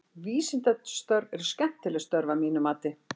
Vísindastörf eru skemmtileg störf að mínu mati.